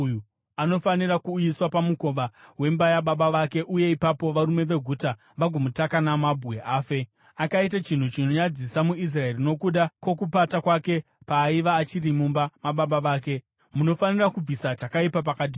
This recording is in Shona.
anofanira kuuyiswa pamukova wemba yababa vake uye ipapo varume veguta vagomutaka namabwe afe. Akaita chinhu chinonyadzisa muIsraeri nokuda kwokupata kwake paaiva achiri mumba mababa vake. Munofanira kubvisa chakaipa pakati penyu.